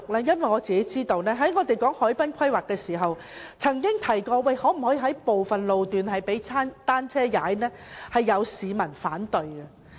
因為在討論海濱規劃時，我們曾經提出能否劃出部分路段供單車行駛，但有市民反對。